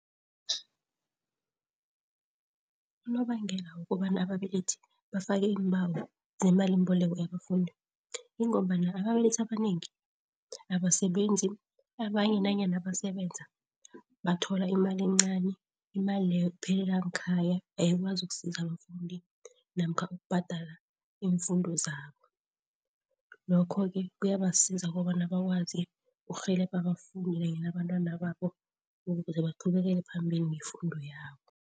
Unobangela wokobana ababelethi bafake iimbawo zemalimboleko yabafundi ingombana ababelethi abanengi abasebenzi. Abanye nanyana basebenza bathola imali encani, imali leyo iphelela ngekhaya. Ayikwazi ukusiza abafundi namkha ukubhadala iimfundo zabo. Lokho-ke kuyabasiza kobana bakwazi urhelebha abafundi kanye nabantwana babo ukuze baqhubekele phambili ngemfundo yabo.